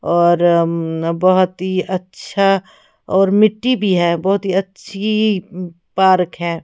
और म्म बहोत ही अच्छा और मिट्टी भी है बहोत ही अच्छी पार्क है।